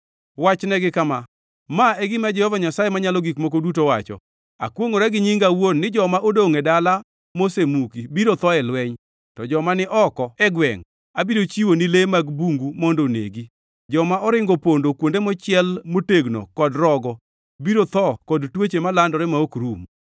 “Wachnegi kama: ‘Ma e gima Jehova Nyasaye Manyalo Gik Moko Duto wacho: Akwongʼora gi nyinga awuon ni joma odongʼ e dala mosemuki biro tho e lweny, to joma ni oko e gwengʼ abiro chiwo ni le mag bungu mondo onegi. Joma oringo opondo kuonde mochiel motegno kod rogo biro tho kod tuoche malandore ma ok rum.